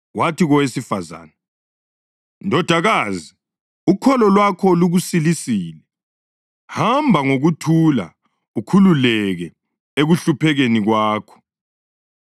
Wathi kowesifazane, “Ndodakazi, ukholo lwakho lukusilisile. Hamba ngokuthula ukhululeke ekuhluphekeni kwakho.”